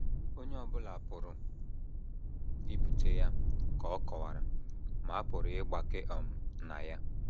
Onye ọ bụla pụrụ ibute ya, ka ọ kọwara, ma a pụrụ ịgbake um na ya.